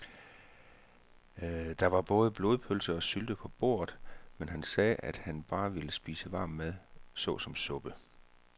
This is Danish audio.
Der var både blodpølse og sylte på bordet, men han sagde, at han bare ville spise varm mad såsom suppe.